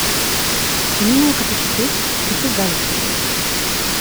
Če nimajo kapacitet, je to velik problem.